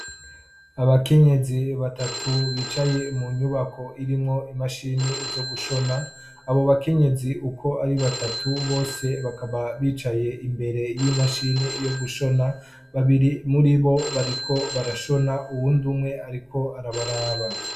abakenyezi batatu bicaye mu nyubako irimwo imashini zo gushona abo bakenyezi uko ari batatu bose bakaba bicaye imbere y'imashini yo gushona babiri muri bo bariko barashona uwundi umwe ariko arabaraba